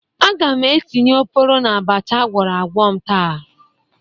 Aga m etinye oporo n'abacha agwọrọ agwọ m taa